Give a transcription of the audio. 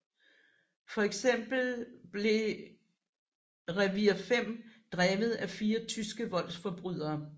For eksempel blev Revier 5 drevet af fire tyske voldsforbrydere